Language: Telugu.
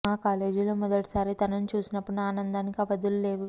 మా కాలేజీలో మొదటిసారి తనని చూసినప్పుడు నా ఆనందానికి అవధులు లేవు